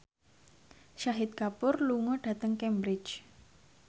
Shahid Kapoor lunga dhateng Cambridge